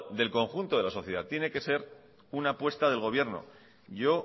del conjunto de la sociedad tiene que ser una apuesta del gobierno yo